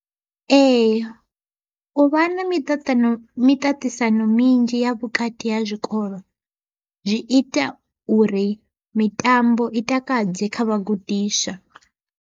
Ee u vha na miṱaṱano miṱaṱisano minzhi ya vhukati ha zwikolo zwi ita uri mitambo i takadze kha vhagudiswa.